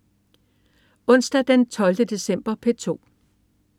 Onsdag den 12. december - P2: